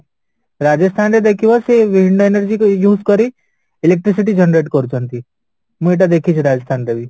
ରାଜସ୍ଥାନରେ ଦେଖିବା ସେ wind energy use କରି electric city generate କରୁଛନ୍ତି ମୁଁ ଏଇଟା ଦେଖିଛି ରାଜସ୍ଥାନରେ ବି